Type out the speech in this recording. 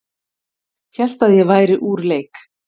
Hélt að ég væri úr leik